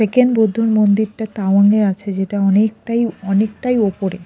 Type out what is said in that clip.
Second বৌদ্ধ মন্দিরটা তাওয়াঙে আছে যেটা অনেকটাই অনেকটাই ওপরে।